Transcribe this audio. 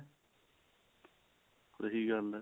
ਸਹੀ ਗੱਲ ਹੈ